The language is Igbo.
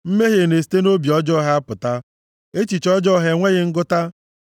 Mmehie na-esite nʼobi ọjọọ ha apụta; echiche ọjọọ ha enweghị ngụta.